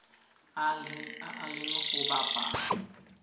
a a leng go bapa